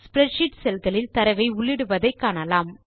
spreadsheet cell களில் தரவை உள்ளிடுவதை காணலாம்